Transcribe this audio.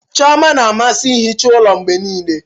Chioma na-amasị ihicha ụlọ mgbe niile.